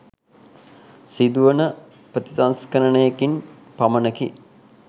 සිදුවන ප්‍රතිසංස්කරණයකින් පමණකි.